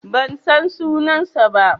Ban san sunansa ba.